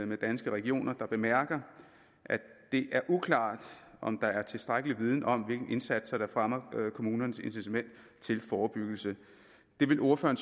med danske regioner der bemærker at det er uklart om der er tilstrækkelig viden om hvilke indsatser der fremmer kommunernes incitament til forebyggelse det vil ordføreren